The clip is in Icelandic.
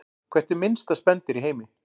Hvert er minnsta spendýr í heimi?